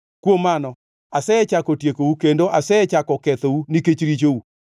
Kuom mano, asechako tiekou, kendo asechako kethou nikech richou.